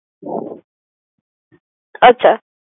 আচ্ছা